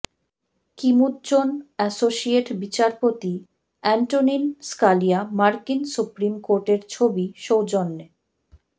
কিমুডজোন associate বিচারপতি Antonin Scalia মার্কিন supreme কোর্টের ছবি সৌজন্যে